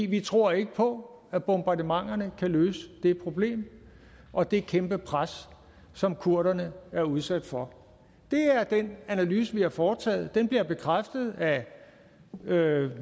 vi tror ikke på at bombardementerne kan løse det problem og det kæmpe pres som kurderne er udsat for det er den analyse vi har foretaget den bliver bekræftet af